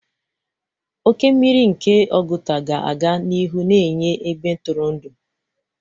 Oke mmiri nke Oguta ga-aga n'ihu na-enye ebe ntụrụndụ.